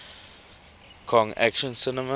kong action cinema